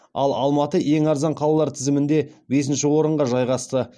ал алматы ең арзан қалалар тізімінде бесінші орынға жайғасты